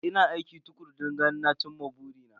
Ina aiki tukuru don ganin na cin ma burina.